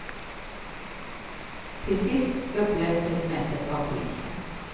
Till sist upplöstes mötet av polisen.